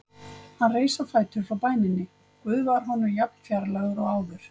Hann reis á fætur frá bæninni: Guð var honum jafn fjarlægur og áður.